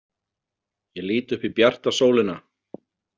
Ég lít upp í bjarta sólina.